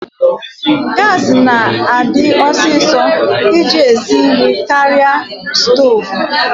Gaasi na-adi ọsịsọ iji esi nri karịa stoovu.